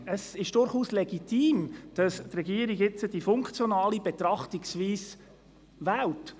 Es ist durchaus legitim, dass die Regierung jetzt die funktionale Betrachtungsweise wählt.